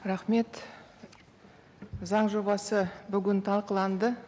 рахмет заң жобасы бүгін талқыланды